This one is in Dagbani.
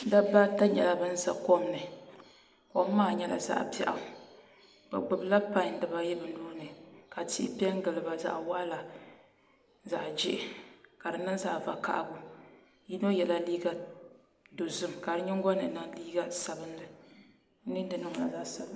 Dabba ata nyɛla bin ʒɛ kom ni kom maa nyɛla zaɣ biɛɣu bi gbubila pai dibaayi bi nuuni ka tihi piɛ n giliba zaɣ waɣala zaɣ jihi ka di niŋ zaɣ vakaɣali yino yɛla liiga dozim ka di nyingoli ni niŋ liiga sabinli